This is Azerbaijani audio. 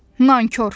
Nankor!